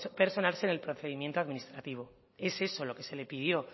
personarse en el procedimiento administrativo es eso lo que se le pidió